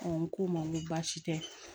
n ko n ma n ko baasi tɛ